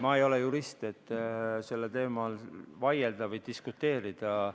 Ma ei ole jurist, et sellel teemal vaielda või diskuteerida.